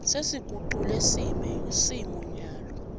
sesigucule simo nyalo